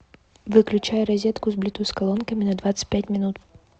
выключай розетку с блютус колонками на двадцать пять минут